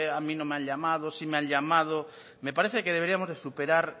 a mí no me ha llamado sí me ha llamado me parece que deberíamos de superar